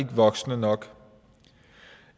voksne nok